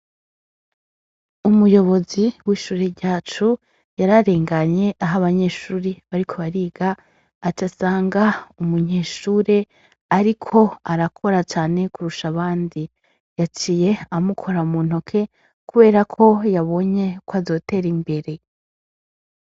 Umuyobozi w'ishure ryacu, yararnganye ah'abanyeshure bariko bariga acasanga umunyeshure ariko arakora cane kurusha abandi, Yaciye amukora muntoke kuberako yabonye kwazotera imbere.